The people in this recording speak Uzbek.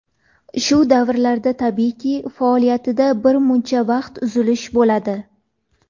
Shu davrlarda, tabiiyki, faoliyatida bir muncha vaqt uzilish bo‘ladi.